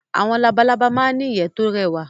Awọn labalábá ma ń n'ìyẹ́ tó rẹwà